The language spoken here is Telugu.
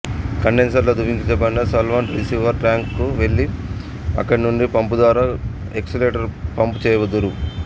కండెన్సరులో ద్రవీకరించబడిన సాల్వెంట్ రిసివరు టాంకుకు వెళ్లి అక్కడునుండి పంపుద్వారా ఎక్సుట్రాక్టరుకు పంప్ చేయుదురు